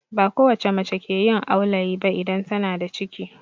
Ba kowacce mace ke yin aulayi ba idan tana da ciki